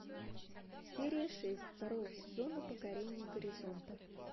серия шесть второго сезона покорение горизонта